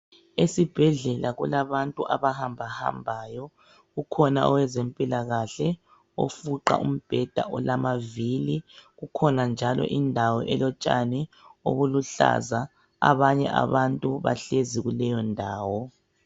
Esibhedlela kulabantu abahambahambayo kukhona owezempilakahle ofuqa umbheda olamavili kukhona njalo indawo elotshani obuluhlaza abanye abantu bahlezi kuleyondawo.